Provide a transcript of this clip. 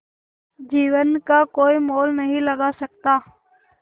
जीवन का कोई मोल नहीं लगा सकता